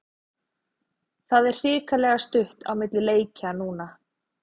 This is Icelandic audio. Það er hrikalega stutt á milli leikja núna.